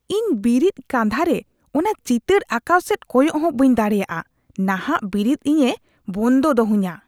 ᱤᱧ ᱵᱤᱨᱤᱫ ᱠᱟᱸᱫᱷᱟ ᱨᱮ ᱚᱱᱟ ᱪᱤᱛᱟᱹᱨ ᱟᱸᱠᱟᱣ ᱥᱮᱫ ᱠᱚᱭᱚᱜ ᱦᱚᱸ ᱵᱟᱹᱧ ᱫᱟᱲᱮᱭᱟᱜᱼᱟ; ᱱᱟᱦᱟᱜ ᱵᱤᱨᱤᱫ ᱤᱧᱮ ᱵᱚᱱᱫᱚ ᱫᱚᱦᱚᱧᱟ ᱾